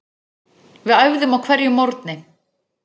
Við æfðum á hverjum morgni.